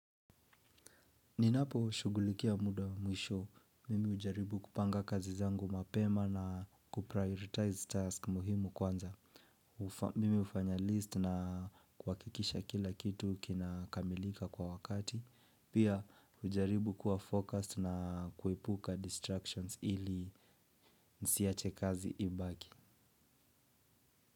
Ninaposhugulikia muda wa mwisho, mimi hujaribu kupanga kazi zangu mapema na kuprioritize task muhimu kwanza. Mimi hufanya list na kuhakikisha kila kitu kinakamilika kwa wakati. Pia hujaribu kuwa focused na kuepuka distractions ili nisiache kazi ibaki.